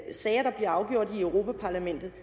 sager der bliver afgjort i i europa parlamentet